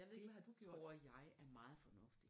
Det tror jeg er meget fornuftigt